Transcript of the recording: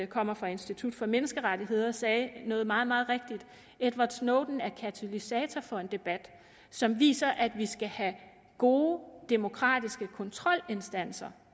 kommer fra institut for menneskerettigheder sagde noget meget meget rigtigt edward snowden er katalysator for en debat som viser at vi skal have gode demokratiske kontrolinstanser